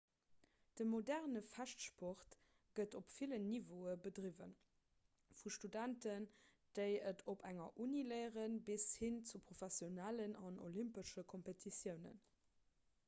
de moderne fechtsport gëtt op villen niveaue bedriwwen vu studenten déi et op enger uni léieren bis hin zu professionellen an olympesche kompetitiounen